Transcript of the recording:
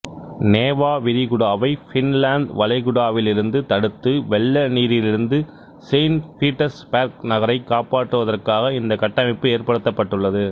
NeVA விரிகுடாவை Finland வளைகுடாவிலிருந்து தடுத்து வெள்ளநீரிலிருந்து செயின்ட் பீட்டர்ஸ்பேர்க் நகரை காப்பாற்றுவதற்காக இந்த கட்டமைப்பு ஏற்படுத்தப்பட்டுள்ளது